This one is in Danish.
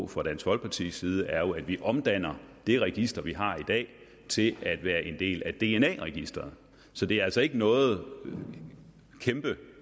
fra dansk folkepartis side er jo at vi omdanner det register vi har i dag til at være en del af dna registeret så det er altså ikke noget kæmpe